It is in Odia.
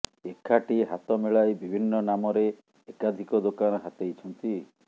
ଏକାଠି ହାତ ମିଳାଇ ବିଭିନ୍ନ ନାମରେ ଏକାଧିକ ଦୋକାନ ହାତେଇଛନ୍ତି